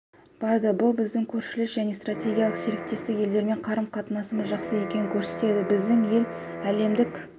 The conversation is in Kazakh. барды бұл біздің көршілес және стратегиялық серіктес елдермен қарым-қатынасымыз жақсы екенін көрсетеді біздің ел әлемдік